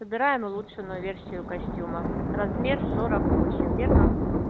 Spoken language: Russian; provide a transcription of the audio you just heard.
собираем улучшенную версию костюма размер сорок восемь верно